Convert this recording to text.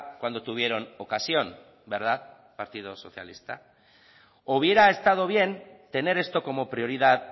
cuando tuvieron ocasión verdad partido socialista o hubiera estado bien tener esto como prioridad